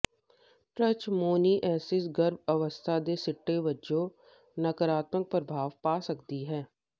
trichomoniasis ਗਰਭ ਅਵਸਥਾ ਦੇ ਸਿੱਟੇ ਵਜੋਂ ਨਕਾਰਾਤਮਕ ਪ੍ਰਭਾਵ ਪਾ ਸਕਦੀ ਹੈ